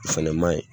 O fɛnɛ maɲi